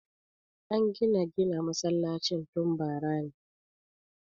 An gina gina masallacin tun bara ne